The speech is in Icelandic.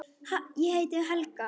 Ég heiti Helga!